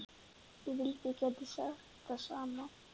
Ég vildi að ég gæti sagt það sama.